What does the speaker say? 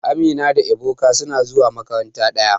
Amina da Ebuka suna zuwa makaranta daya.